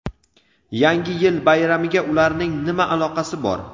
Yangi yil bayramiga ularning nima aloqasi bor?.